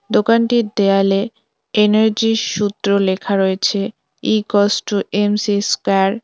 দোকানটির দেয়ালে এনার্জি -র সূত্র লেখা রয়েছে E equals to M C square.